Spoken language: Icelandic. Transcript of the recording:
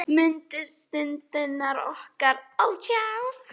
Mundu stundirnar okkar.